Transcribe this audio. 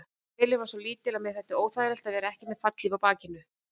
Vélin var svo lítil að mér þótti óþægilegast að vera ekki með fallhlíf á bakinu.